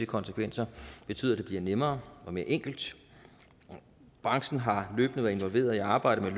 konsekvenser betyde at det bliver nemmere og mere enkelt branchen har løbende været involveret i arbejdet med